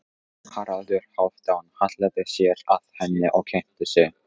Haraldur Hálfdán hallaði sér að henni og kynnti sig.